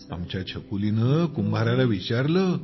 आमच्या छकुलीने कुंभाराला विचारले